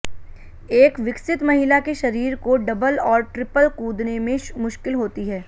एक विकसित महिला के शरीर को डबल और ट्रिपल कूदने में मुश्किल होती है